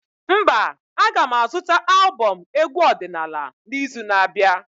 Mba, a ga m azụta albọm egwu ọdịnala n'izu na-abịa